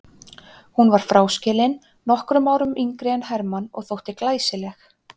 Hún var fráskilin, nokkrum árum yngri en Hermann og þótti glæsileg.